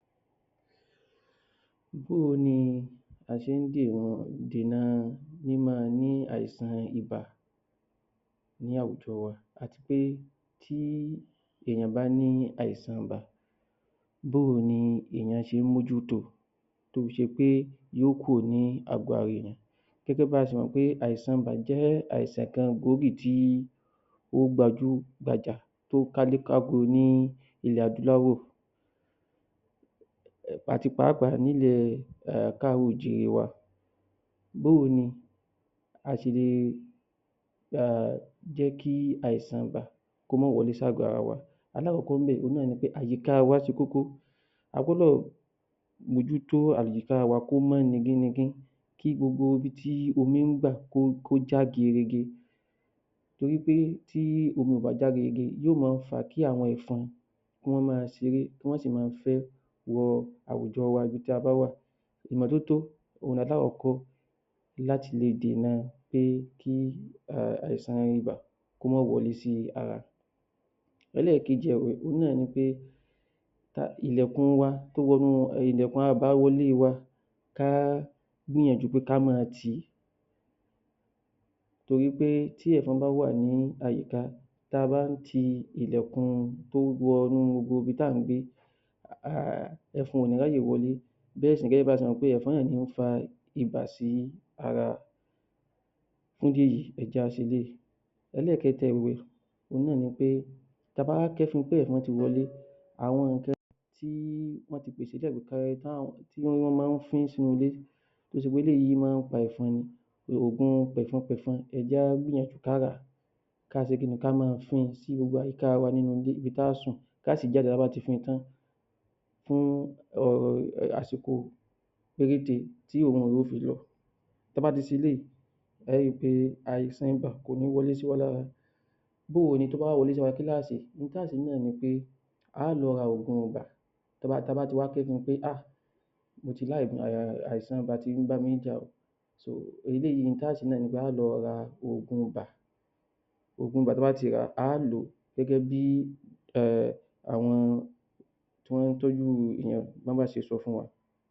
Bó o ni a ṣé ń dìran dènà míma ní àìsàn ibà ní àwùjọ wa àti pé tí èèyàn bá ní àìsàn ibà, bó o ni èèyàn ṣe ń mójú tó o, tó fi ṣe pé yóò kúrò ní àgọ ara èèyàn. Gẹ́gẹ́ bí a ṣe mọ̀ pé àìsàn ibà jẹ́ àìsàn kan gbòógì tí ó gbajú-gbajà tó kálé káko ní ilẹ̀ adúláwọ̀. Àti pàápàá nílẹ̀ káàrọ̀-ò-jíre wa. Bó o ni a ṣe le jẹ́kí um jẹ́ kí àìsàn ibà kó má wọlé sá àgọ ara wa. Alákọ̀kọ́ ḿbẹ̀, òhun náà ni pé àyíká wa ṣe kókó. A gbọ́dọ̀ mójútó àyíká wa kó mọ́ nigín-nigín kí gbogbo ibi tí omi ń gbà, kó já gerege. Torí pé tí omi ó bà já gerege, yóò máa fàá kí àwọn ẹ̀fọn kán máa ṣeré, kán sì máa fẹ́ wọ àwùjọ wa ibi tí a bá wà. Ìmọ́tótó, òhun ni alákọ̀kọ́ láti lè dènà pé kí um àìsàn ibà kó má wọlé sí ara. Elẹ́kejì ẹ̀wẹ̀ òhun náà ni pé tá ilẹ̀kùn wa tó wọnú ilẹ̀kùn àbá wọlé wa, ká gbìyànjú ká máa ti. Torí pé tí ẹ̀fọn bá wà ní àyíká, tá bá ń ti ilẹ̀kùn tó wọnú gbogbo ibi tá ǹ gbé, um ẹ̀fọn òní ráyè wọlé. Bẹ́ẹ̀ sì ni tẹbá ti mọ̀ pé ẹ̀fọn náà ni ó ń fa ibà sí ara, fún ìdí èyí, ẹ jẹ́ a ṣe eléyìí. Ẹlẹ́kẹ́ta ẹ̀wẹ̀, òhun náà ni pé ta bá wá kẹ́fin pé ẹ̀fọn ti wọlé, àwọn nǹkan tí wọ́n tí pèsè lẹ̀ tí wọ́n máa ń fín sínú ilé tó ṣe pé eléyìí máa ń pa ẹ̀fọn ni, ògun pẹ̀fọn-pẹ̀fọn, ẹ jẹ́ á gbìyànjú ká ràá, káṣe kí ni, ká máa fin sí gbogbo àyíká wa nínú ilé, ibi tá a sùn, ká sì jáde ta bá ti fin tán. Fún um àsìkò péréte tí òrun rẹ̀ yóò fi lọ. Ta bá ti ṣe eléyìí, ẹ ri pé àìsàn ibà kò ní wọlé sí wa lára. Bóò ni, tó bá wá wọlé síwa lára, kí lá ṣe? Ohun tá a ṣe náà ni pé, á lọ ra ògun ibà, ta tabá ti wá kẹ́dùn pé um moti la ogun, um àìsàn ibà tí ń bá mi jà o so eléyìí in tá ṣe náà ni pé, á o lọ́ra ògun ibà, ògun ibà, ta bá ti ràá, a lòó gẹ́gẹ́bí um àwọn tí wọ́n tọ́jú èèyàn bó bá ṣe sọ fún wa.